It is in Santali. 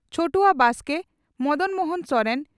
ᱪᱷᱚᱴᱨᱭᱟ ᱵᱟᱥᱠᱮ ᱢᱚᱰᱚᱱ ᱢᱚᱦᱚᱱ ᱥᱚᱨᱮᱱ